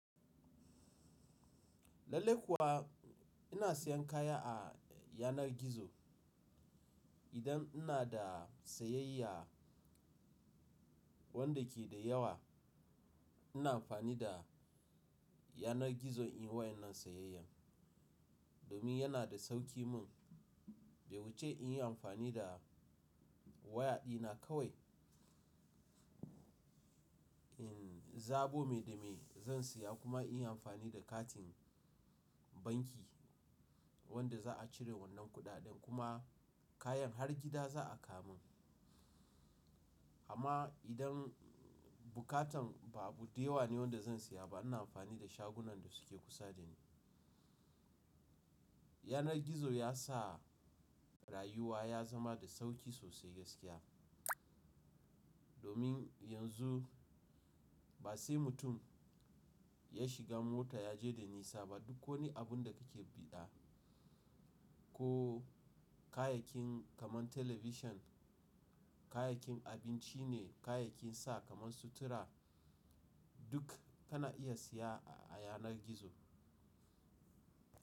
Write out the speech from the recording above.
Lallai kuwa ina siyan kaya a yanar gizo. Idan ina da sayayya wanda ke da yawa ina amfani da yanar gizo in yi wannan sayayyar, domin yana da sauki mun. Bai wuce in yi amfani da waya dina kawai, in zabo me da me zan siya kuma in yi amfani da katin banki wanda za a cire wannan kuɗaɗen kuma kayan har gida za a kawo mun. Amma idan bukatan ba abu da yawa ne wanda zan siya ba ina amfani da shagunan da suke kusa da ni. Yanar gizo ya sa rayuwa ya zama da sauki sosai gaskiya. Domin yanzu ba sai mutum ya shiga mota ya je da nisa ba, duk ko ne abun da kake buɗa ko kayayyakin kamar talabishin, kayayyakin abinci ne, kayayyakin sa kamar sutura, duk kana iya siya a yanar gizo.